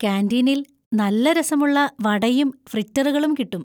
കാന്‍റീനിൽ നല്ല രസമുള്ള വടയും ഫ്രിറ്ററുകളും കിട്ടും.